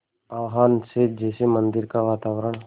आह्वान से जैसे मंदिर का वातावरण